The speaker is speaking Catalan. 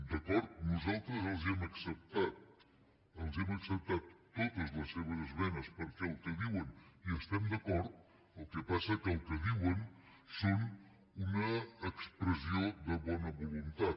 d’acord nosaltres els ho hem acceptat els hem acceptat totes les seves esmenes perquè amb el que diuen hi estem d’acord el que passa que el que diuen és una expressió de bona voluntat